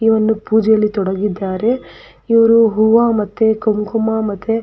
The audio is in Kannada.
ಈ ಒಂದು ಪೂಜೆಯಲ್ಲಿ ತೊಡಗಿದ್ದಾರೆ. ಇವರು ಹೂವ ಮತ್ತೆ ಕುಂಕುಮ ಮತ್ತೆ --